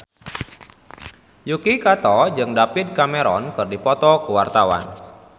Yuki Kato jeung David Cameron keur dipoto ku wartawan